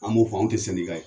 An b'o fɔ anw te ye.